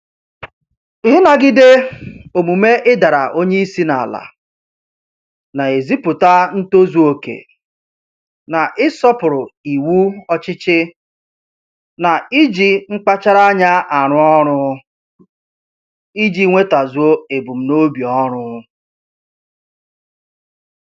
Ịnagide omume ịdara onye isi n'ala a na-ezipụta ntozuoke na-ịsọpụrụ iwu ọchịchị na iji mkpachara anya arụ ọrụ iji nwetazuo ebumnobi ọrụ